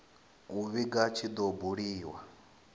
u vhiga tshi do buliwa